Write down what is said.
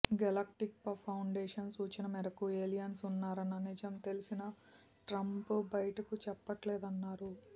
galactic foundation సూచన మేరకు aliens ఉన్నారన్న నిజం తెలిసినా ట్రంప్ బయటకు చెప్పట్లేదన్నారు